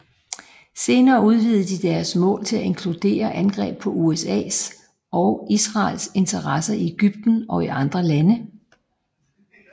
Senere udvidede de deres mål til at inkludere angreb på USAs og Israels interesser i Egypten og i andre lande